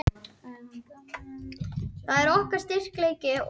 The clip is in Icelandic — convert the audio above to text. Þar er gert ráð fyrir miklum lagabótum hvað varðar jafnræði trúarbragða.